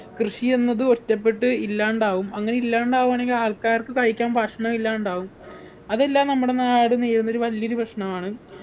കൃഷിയെന്നത് ഒറ്റപ്പെട്ട് ഇല്ലാണ്ടാവും അങ്ങനെ ഇല്ലാണ്ടാവാണെങ്കിൽ ആൾക്കാർക്ക് കഴിക്കാൻ ഭക്ഷണമില്ലാണ്ടാവും അതെല്ലാം നമ്മുടെ നാട് നേരിടുന്നൊരു വലിയൊരു പ്രശ്നമാണ്